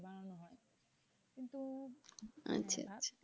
আচ্ছা।